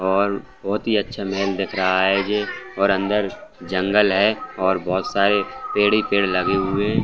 और बहोत ही अच्छा महल दिख रहा है ये और अंदर जंगल है और बहोत सारे पेड़ ही पेड़ लगे हुए हैं।